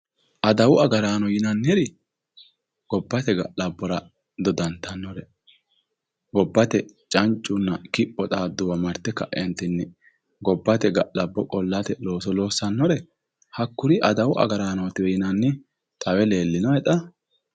Adawu agarraano yinanniri gobbate ga'labbora doddattanore gobbate cancunna kipho xaaduwa marte kaetinni gobbate ga'labbo qolate looso loossanore hakkuri adawu agarranotiwe yinanni xawe leelinohe xa?